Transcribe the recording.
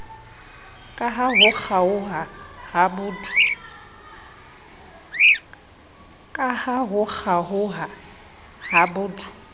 kaha ho kgaoha ha botho